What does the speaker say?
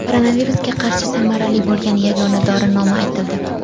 Koronavirusga qarshi samarali bo‘lgan yagona dori nomi aytildi.